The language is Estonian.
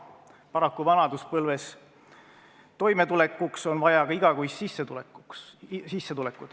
Paraku, vanaduspõlves toimetulekuks on vaja ka igakuist sissetulekut.